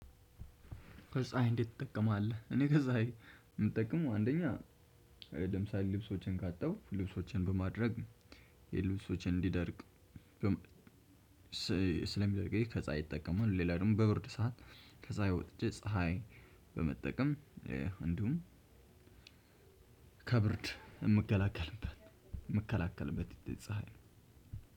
ከጸሀይ እንዴት ትጠቀማለህ? እኔ ከጸሀይ የምጠቅመው አንደኛ ለምሳሌ ልብሶቼን ካጠብኩ ልብሶቼን በማድረቅ ልብሶቼ እንዲደርቅ ስለሚደርቅ ይሄ ከፀሀይ እጠቀማለሁ። ሌላ ደግሞ በብርድ ሰዓት ከጸሀይ የወጥቼ ፀሀይ በመጠቀም እንዲሁም ከብርድ የምከላከልበት የምከላከልበት ፀሀይ ነው።